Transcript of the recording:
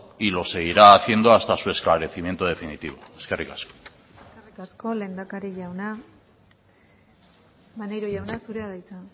y lo seguirá haciendo hasta su esclarecimiento definitivo eskerrik asko eskerrik asko lehendakari jauna maneiro jauna zurea da hitza